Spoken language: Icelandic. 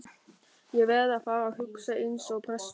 Ég verð að fara að hugsa eins og prestur.